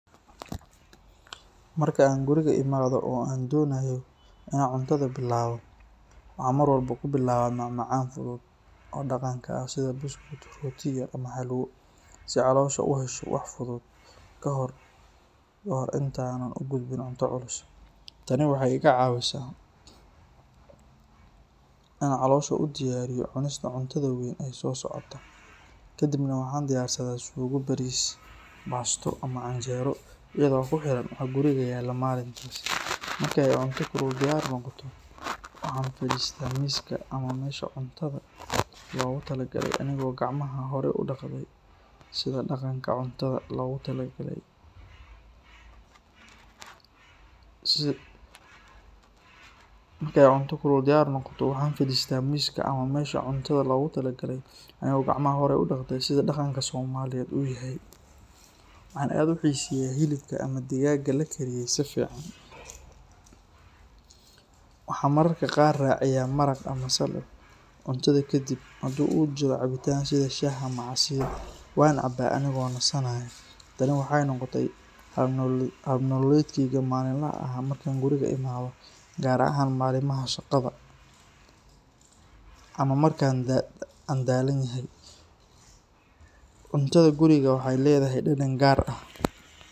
Marka an guriga imadho oo an donayo in an cuntaada bilawo maxan mar waxbo kubilawa mac macan oo daqanka ah si caloshu uhesho xog ka hore intaa u gudbin, tani waxee iga cawisa in ee halosha isku diyariso cuntadha, waxan aad u xiseya hilibka digaga, waxan caba shah gar ahan malmaha shaqaada, cutaada guriga waxee ledhahay.